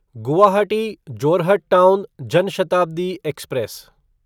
Guwahati Jorhat town Jan Shatabdi express